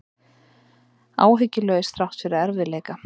Áhyggjulaus þrátt fyrir erfiðleika